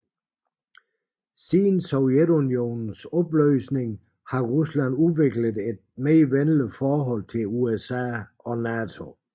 Siden Sovjetunionens opløsning har Rusland udviklet et venligere forhold til USA og NATO